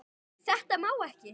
Þetta má ekki.